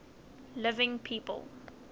living people